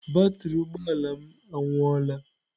Batrị ụgbọ ala m anwụọla.